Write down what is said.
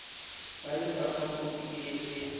ba lefapha khopi e e